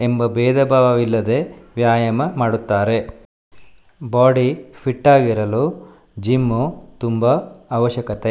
ಎಂಬ ಬೇದಬಾವವಿಲ್ಲದೆ ವ್ಯಾಯಾಮ ಮಾಡುತ್ತಾರೆ. ಬಾಡಿ ಫಿಟ್ ಆಗಿರಲು ಜಿಮ್ಮು ತುಂಬಾ ಅವಶ್ಯಕತೆ.